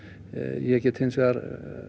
ég get hins vegar